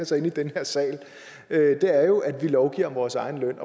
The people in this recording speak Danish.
sig inde i den her sal er jo at vi lovgiver om vores egen løn